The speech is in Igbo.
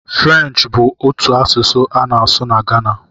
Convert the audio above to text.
Frenchị bụ otu asụsụ a na-asụ n'Ghana.